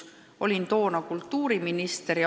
Olin toona kultuuriminister.